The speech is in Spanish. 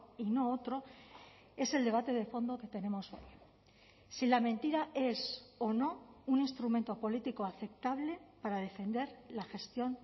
y no otro es el debate de fondo que tenemos si la mentira es o no un instrumento político aceptable para defender la gestión